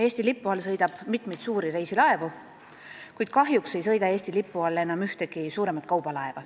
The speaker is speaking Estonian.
Eesti lipu all sõidab mitu suurt reisilaeva, kuid kahjuks ei sõida Eesti lipu all enam ükski suurem kaubalaev.